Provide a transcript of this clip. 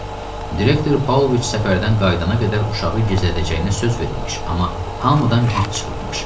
Direktor Paulviç səfərdən qayıdana qədər uşağı gizlədəcəyinə söz veribmiş, amma hamıdan bit çıxıbmış.